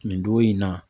Nin don in na